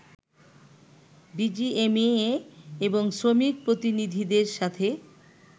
BGMEA এবং শ্রমিক প্রতিনিধিদের সাথে